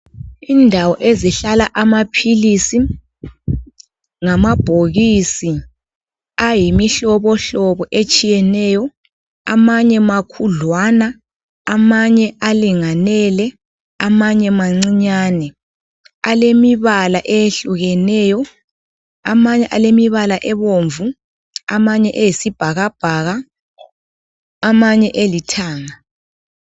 Indawo ezihlala amaphilisi. ngamabhokisi ayimihlobohlobo etshiyeneyo. Amanye makhudlawana, amanye alingene, amanye mancinyane. Alemibala eyehlukeneyo. Amanye alemibala ebomvu. Amanye eyisibhakabhaka. Amanye elithanga.